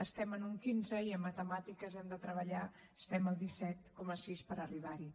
estem en un quinze i en matemàtiques hem de treballar estem al disset coma sis per arribar hi